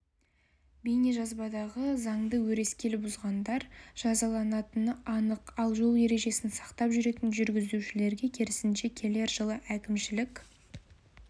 бейнежазбадағы заңды өрескел бұзғандар жазаланатыны анық ал жол ережелерін сақтап жүретін жүргізушілерге керісінше келер жылы әкімшілік